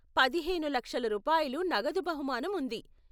పదిహేను లక్షల రూపాయలు నగదు బహుమానం ఉంది.